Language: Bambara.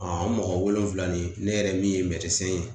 an mɔgɔ wolonwula nin ne yɛrɛ min ye ye